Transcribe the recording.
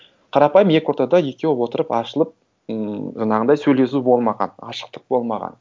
қарапайым екі ортада екеуі отырып ашылып ммм жаңағындай сөйлесу болмаған ашықтық болмаған